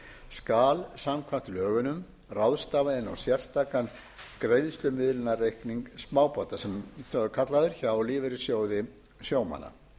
skal samkvæmt lögunum ráðstafað inn á sérstakan greiðslumiðlunarreikning smábáta sem svo er kallaður hjá lífeyrissjóði sjómanna